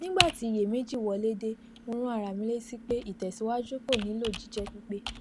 nígbà tí iyèméjì wọlé dé mo rán ara mi létí pé ìtẹsíwájú kò nílò jíjépípé